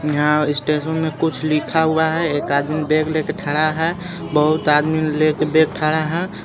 यहां स्टेशन में कुछ लिखा हुआ है एक आदमी बैग लेके ठेरा है बहुत आदमी लेके बैग ठेरा है.